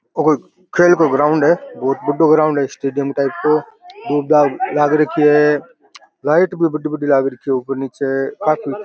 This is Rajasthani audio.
और खेल को ग्राउंड है बहुत बड़ो ग्राउंड है स्टेडियम टाइप का लाइट भी बड़ी बड़ी लाग रखे है ऊपर निचे --